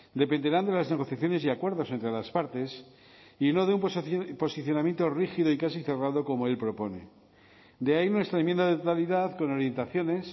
dependerán de las negociaciones y acuerdos entre las partes y no de un posicionamiento rígido y casi cerrado como él propone de ahí nuestra enmienda de totalidad con orientaciones